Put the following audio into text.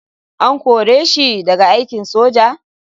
An kore shi daga aikin soja?